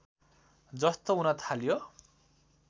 जस्तो हुन थाल्यो